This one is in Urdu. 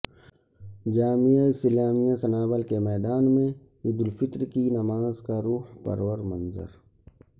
جامعہ اسلامیہ سنابل کے میدان میں عید الفطر کی نماز کا روح پرور منظر